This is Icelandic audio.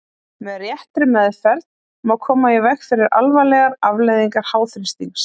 Með réttri meðferð má koma í veg fyrir alvarlegar afleiðingar háþrýstings.